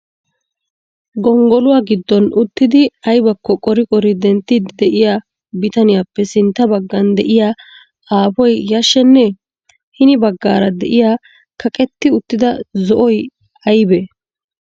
Gonggoluwa giddon utridi aybbakko qori qori denttiidi de'iya bitaniyappe sintta baggan de'iyaa aapoy yashshenne? Hini baggaara de'iya kaqqetti uttida zo'oy aynne?